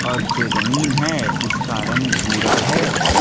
और जो जमीन है उसका रंग भूरा है।